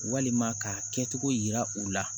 Walima ka kɛcogo yira u la